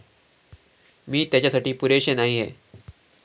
मी त्याच्यासाठी पुरेशी नाहीए.